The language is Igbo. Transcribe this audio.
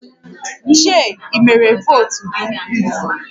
Chei i mere votu gi?